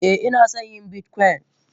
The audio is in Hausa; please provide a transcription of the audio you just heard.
Eh inason yin bitcoin.